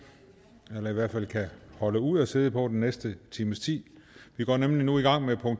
eller i hvert fald kan holde ud at sidde på den næste times tid